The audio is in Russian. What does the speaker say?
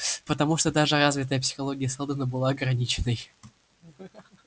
потому что даже развитая психология сэлдона была ограниченной